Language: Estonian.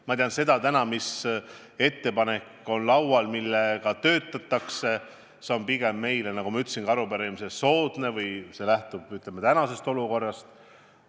Ma tean täna seda, mis ettepanek on laual ja mille kallal töötatakse, ning see on meile, nagu ma ka arupärimisele vastates ütlesin, pigem soodne või lähtub, ütleme, tänasest olukorrast.